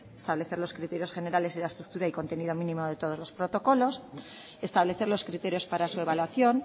establecer los criterios generales y la estructura y contenido mínimo de todos los protocolos establecer los criterios para su evaluación